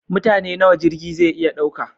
Mutane nawa jirgi zai iya ɗauka?